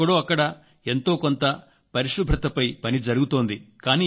ఎక్కడో అక్కడ ఎంతో కొంత పరిశుభ్రతపై పని జరుగుతోంది